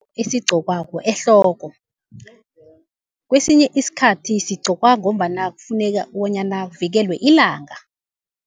Esigqokwako ehloko, kwesinye isikhathi sigqokwa ngombana kufuneka bonyana kuvikelwe ilanga.